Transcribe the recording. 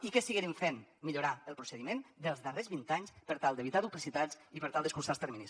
i què seguirem fent millorar el procediment dels darrers vint anys per tal d’evitar duplicitats i per tal d’escurçar els terminis